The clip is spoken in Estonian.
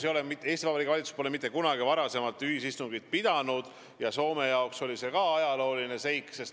Eesti Vabariigi valitsus pole mitte kunagi varem ühisistungit pidanud ja ka Soome jaoks oli see ajalooline seik.